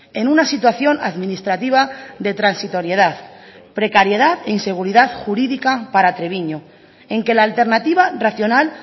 en una situación administrativa de transitoriedad precariedad e inseguridad jurídica para treviño en que la alternativa racional